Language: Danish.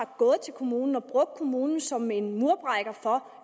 gået til kommunen og har brugt kommunen som en murbrækker for